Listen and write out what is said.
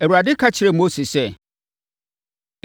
Awurade ka kyerɛɛ Mose sɛ,